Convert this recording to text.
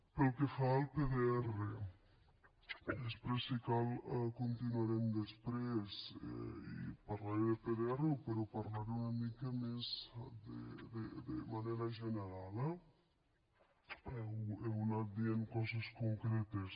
pel que fa al pdr i després si cal continuarem després parlaré de pdr però en parlaré una mica més de manera general eh heu anat dient coses concretes